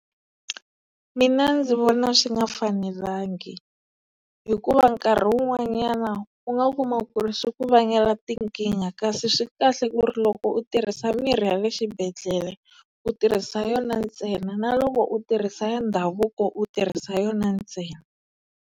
Mina ndzi vona swi nga fanelangi hikuva nkarhi wun'wanyana u nga kuma ku ri swi ku vangela tinkingha kasi swi kahle ku ri loko u tirhisa mirhi ya le xibedhlele u tirhisa yona ntsena na loko u tirhisa ya ndhavuko u tirhisa yona ntsena.